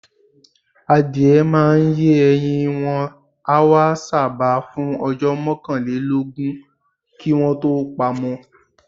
Àdìẹ́ màá n yè ẹ̀yìn, wọn àwà ṣábà fún ọjọ́ mọ̀kànlẹ̀lọ́gún kí wọn tó pàmọ̀.